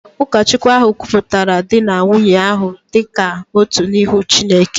Ụkọchukwu ahụ kwupụtara di na nwunye ahụ dị ka otu n’ihu Chineke